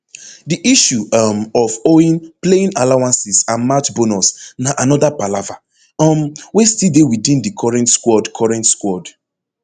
di issue um of owing playing allowances and match bonus na anoda palava um wey still dey within di current squad current squad